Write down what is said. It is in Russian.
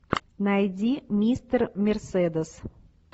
найди мистер мерседес